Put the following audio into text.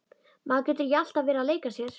Maður getur ekki alltaf verið að leika sér.